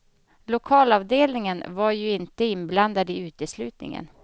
Lokalavdelningen var ju inte inblandad i uteslutningen.